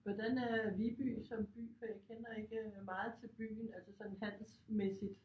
Hvordan er Viby som by for jeg kender ikke meget til byen altså sådan handelsmæssigt